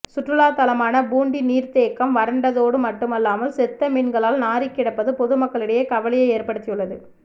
சுற்றுலா தலமான பூண்டி நீர்த்த தேக்கம் வறண்டதோடு மட்டுமல்லாமல் செத்த மீன்களால் நாறி கிடப்பது பொதுமக்களிடையே கவலையை ஏற்படுத்தியுள்ளது